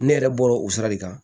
Ne yɛrɛ bɔra o sira de kan